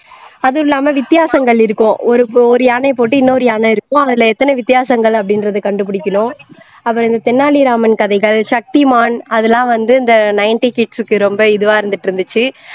அதுவும் இல்லாம வித்தியாசங்கள் இருக்கும் ஒரு யானைய போட்டு இன்னொரு யானை இருக்கும் அதுல எத்தனை வித்தியாசங்கள் அப்படின்றதை கண்டு பிடிக்கணும் அப்பறம் இந்த தென்னாலி ராமன் கதைகள் சக்திமான் அதெல்லாம் வந்து இந்த ninety kids க்கு ரொம்ப இதுவா இருந்துட்டு இருந்துச்சு இருந்தது